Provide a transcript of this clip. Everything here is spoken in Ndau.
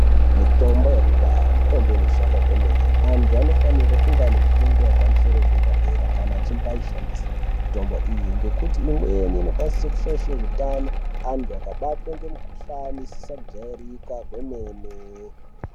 Mitombo yekudhaya mitombo inoshanda kwemene. Antu vanofanira kuwana fundo yepamusoro deradera kana echimbaeshandisa mitombo iyi ngekuti imweni inokwanise kushaishe hutano antu akabatwe ngemikhuhlane isina kujairika kwemene.